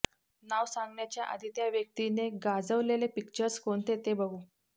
नाव सांगण्याच्या आधी त्या व्यक्तीने गाजवलेले पिक्चर्स कोणते ते बघू